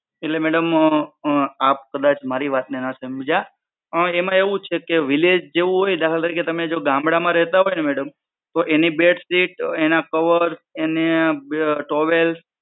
એટલે madam અ આપ કદાચ મારી વાત ને ના સમજ્યા. એમા એવું છે કે village જેવુ હોય દાખલા તરીકે તમે જો ગામડામા રેહતા હોય ને madam તો એની બેડશીટ એના cover એને towel